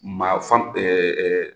Ma fan ɛɛ